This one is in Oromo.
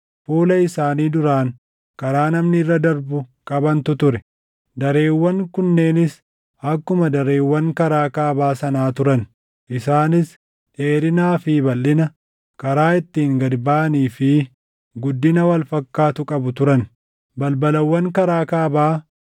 fuula isaanii duraan karaa namni irra darbu qabantu ture. Dareewwan kunneenis akkuma dareewwan karaa kaabaa sanaa turan; isaanis dheerinaa fi balʼina, karaa ittiin gad baʼanii fi guddina wal fakkaatu qabu turan. Balbalawwan karaa kaabaa